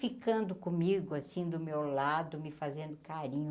Ficando comigo, assim, do meu lado, me fazendo carinho.